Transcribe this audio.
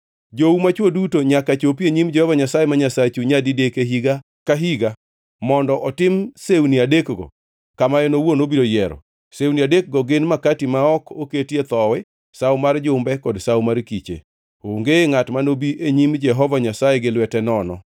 Jou machwo duto nyaka chopi e nyim Jehova Nyasaye ma Nyasachu nyadidek e higa ka higa mondo otim sewni adekgo kama en owuon obiro yiero. Sewni adekgo gin Makati ma ok Oketie Thowi, Sawo mar Jumbe kod Sawo mar Kiche. Onge ngʼat manobi e nyim Jehova Nyasaye gi lwete nono.